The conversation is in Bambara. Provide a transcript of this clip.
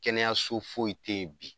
Kɛnɛyaso foyi tɛ yen bi.